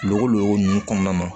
Lokolukolon ninnu kɔnɔna na